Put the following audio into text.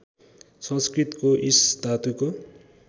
संस्कृतको ईश् धातुको